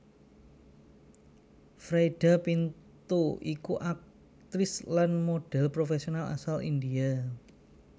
Freida Pinto iku aktris lan modhèl profèsional asal India